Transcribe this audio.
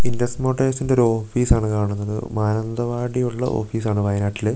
Index മോട്ടോഴ്സിന്റെ ഒരു office ആണ് കാണുന്നത് മാനന്തവാടിയുള്ള ഒരു ഓഫീസ് ആണ് വയനാട്ടില്.